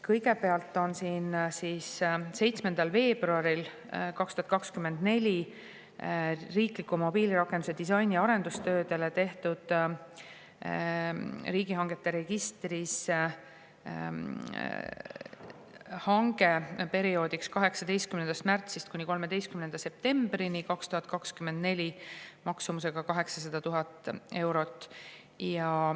" Kõigepealt tehti 7. veebruaril 2024 riikliku mobiilirakenduse disaini arendustööde jaoks riigihangete registris hange perioodiks 18. märts kuni 13. september 2024 maksumusega 800 000 eurot.